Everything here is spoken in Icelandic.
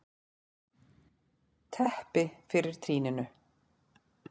Teppi fyrir trýninu.